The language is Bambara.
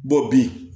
bi